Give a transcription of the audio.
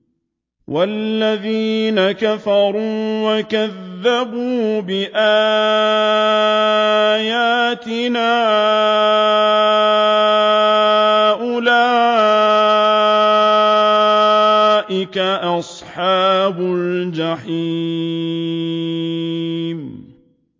وَالَّذِينَ كَفَرُوا وَكَذَّبُوا بِآيَاتِنَا أُولَٰئِكَ أَصْحَابُ الْجَحِيمِ